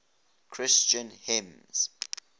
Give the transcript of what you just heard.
christian hymns